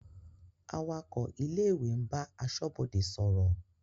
Awakọ̀ ilé-ìwé ń bá aṣọ́bodè sọ̀rọ̀.